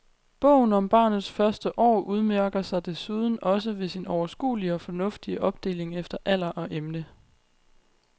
Bogen om barnets første år udmærker sig desuden også ved sin overskuelige og fornuftige opdeling efter alder og emne.